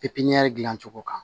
pipiɲɛri gilan cogo kan